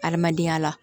Adamadenya la